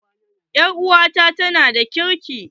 Ɗan'uwanta ta yana da ƙirki.